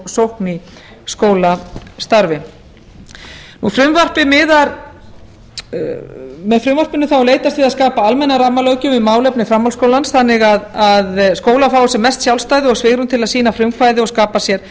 sókn í skólastarfi með frumvarpinu er leitast við að skapa almenna rammalöggjöf um málefni framhaldsskólans þannig að skólar fái sem mest sjálfstæði og svigrúm til að sýna frumkvæði og skapa sér